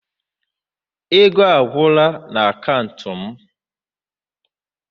Ego agwụla n'akaụntụ m.